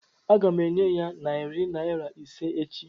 Aga m enye ya narị naịra ise echi.